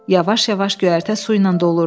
Yavaş-yavaş göyərtə su ilə dolurdu.